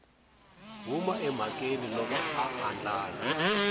huma emhakeni loko a andlala